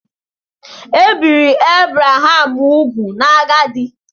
Ebiri Abraham úgwù n'agadi.